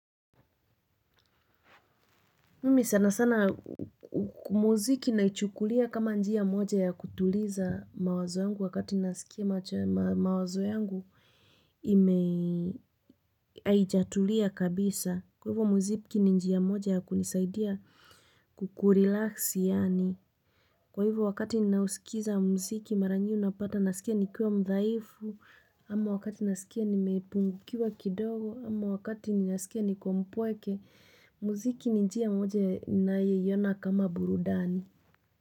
Mimi sana sana muziki naichukulia kama njia moja ya kutuliza mawazo yangu wakati ninasikia mawazo yangu ime, haijatulia kabisa. Kwa hivo muziki ni njia moja ya kunisaidia kukurelax yaani. Kwa hivo wakati ninausikiza muziki mara nyingi unapata nasikia nikiwa mdhaifu. Ama wakati ninasikia nimepungukiwa kidogo. Ama wakati ninasikia niko mpweke. Muziki ni njia moja nayeiona kama burudani.